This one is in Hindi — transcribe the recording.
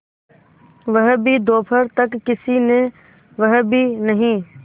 वह भी दोपहर तक किसी ने वह भी नहीं